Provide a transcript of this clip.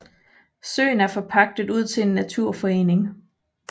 Søen er forpagtet ud til en naturforening